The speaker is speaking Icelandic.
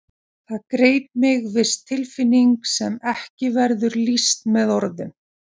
Það greip mig viss tilfinning sem ekki verður lýst með orðum.